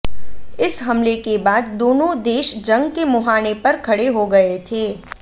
इस हमले के बाद दोनों देश जंग के मुहाने पर खड़े हो गए थे